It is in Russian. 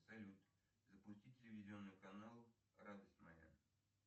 салют запусти телевизионный канал радость моя